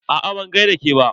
Aa ban gaida ke ba.